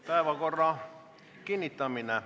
Päevakorra kinnitamine.